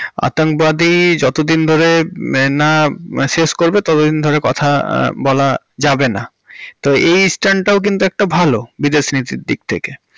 অত্যাঙ্গবাদী যত দিন ধরে না শেষ করবে ততদিন ধরে কথা বলা যাবেনা তো এই stand ও কিন্তু একটা ভালো বিদেশ নীতির দিক থেকে।